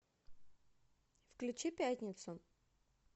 включи пятницу